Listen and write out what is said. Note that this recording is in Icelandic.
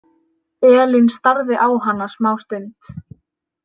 Elín starði á hana smástund.